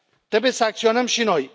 Trebuie să acționăm și noi.